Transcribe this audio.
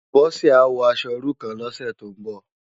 Bose á wò aṣò irú kán lòsè tó n bò